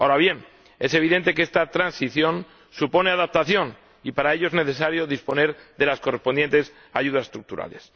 Ahora bien, es evidente que esta transición supone adaptación y para ello es necesario disponer de las correspondientes ayudas estructurales.